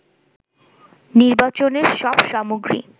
নির্বাচনের সব সামগ্রী